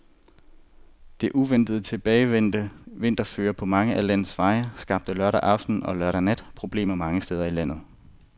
Det uventet tilbagevendte vinterføre på mange af landets veje skabte lørdag aften og lørdag nat problemer mange steder i landet.